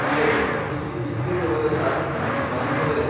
ಇದೋ ಇಲ್ಲಿ ಬಿದ್ದಿರುವವರೆಲ್ಲಾ ನಿಮ್ಮ ಬಾಂಧವರೇ !